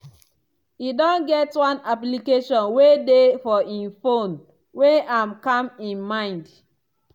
e don get one application wey dey for e phone wey am calm e mind.